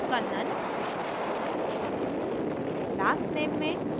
first name में kannan